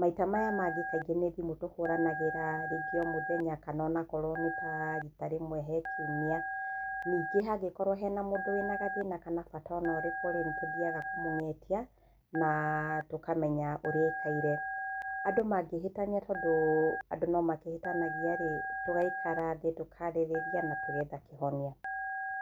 maita maya mangi kaingĩ ni thimũ tũhũranagĩra rĩngi o mũthenya kana onakorwo nĩ ta rita rimwe he kiũmia. Ningi hangikorwo hena mũndũ wĩna gathĩna kana bata ona ũriku nitũthiaga kũmũng'etia na tũkamenya ũria aĩkaire. Andũ mangĩhitania tondũ andũ nomakĩhĩtanagia rĩ, tũgaikara thĩ, tũkarĩrĩa na tũgetha kĩhonia.